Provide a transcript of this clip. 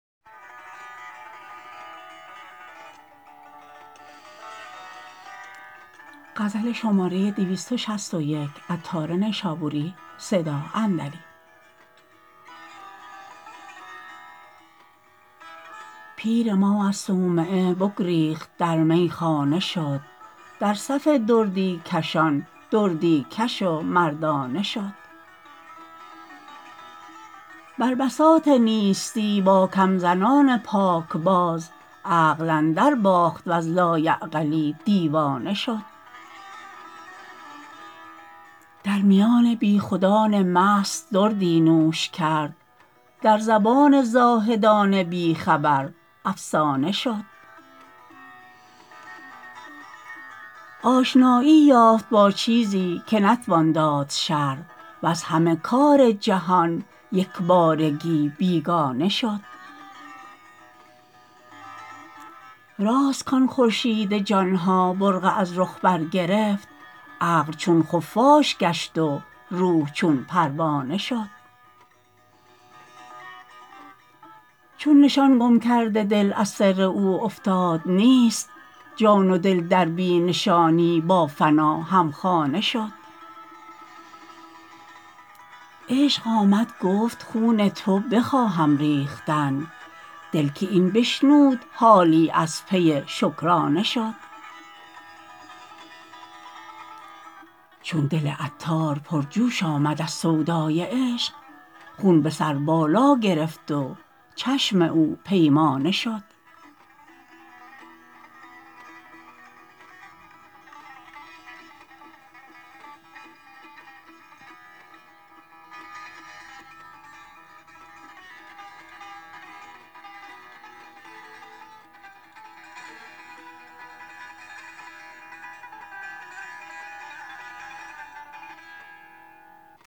پیر ما از صومعه بگریخت در میخانه شد در صف دردی کشان دردی کش و مردانه شد بر بساط نیستی با کم زنان پاک باز عقل اندر باخت وز لایعقلی دیوانه شد در میان بی خودان مست دردی نوش کرد در زبان زاهدان بی خبر افسانه شد آشنایی یافت با چیزی که نتوان داد شرح وز همه کار جهان یکبارگی بیگانه شد راست کان خورشید جانها برقع از رخ برگرفت عقل چون خفاش گشت و روح چون پروانه شد چون نشان گم کرد دل از سر او افتاد نیست جان و دل در بی نشانی با فنا هم خانه شد عشق آمد گفت خون تو بخواهم ریختن دل که این بشنود حالی از پی شکرانه شد چون دل عطار پر جوش آمد از سودای عشق خون به سر بالا گرفت و چشم او پیمانه شد